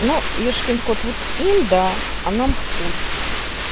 ну ёшкин кот ну им да а нам хуй